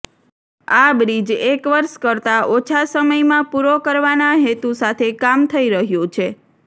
આ બ્રિજ એક વર્ષ કરતાં ઓછા સમયમાં પૂરો કરવાના હેતુ સાથે કામ થઈ રહ્યું છે